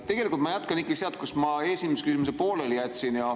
Tegelikult ma jätkan ikka sealt, kus ma esimese küsimuse pooleli jätsin.